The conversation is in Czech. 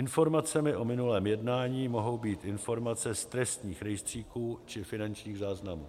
Informacemi o minulém jednání mohou být informace z trestních rejstříků či finančních záznamů.